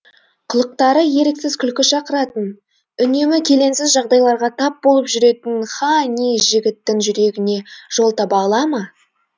қылықтары еріксіз күлкі шақыратын үнемі келеңсіз жағдайларға тап болып жүретін ха ни жігіттің жүрегіне жол таба ала ма